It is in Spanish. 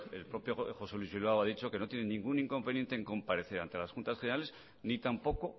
el propio josé luis bilbao ha dicho que no tiene ningún inconveniente en comparecer ante las juntas generales ni tampoco